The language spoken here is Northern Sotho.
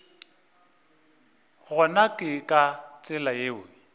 gona ke ka tsela yeo